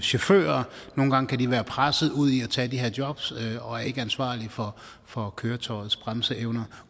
chauffører nogle gange kan de være presset ud i at tage de her jobs og er ikke ansvarlige for for køretøjets bremseevner